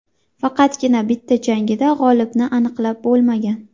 Faqatgina bitta jangida g‘olibni aniqlab bo‘lmagan.